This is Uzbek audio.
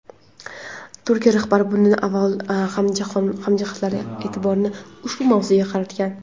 Turkiya rahbari bunday avval ham jahon hamjamiyatining e’tiborini ushbu mavzuga qaratgan.